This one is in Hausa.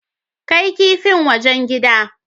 Kai kipin wajen gida.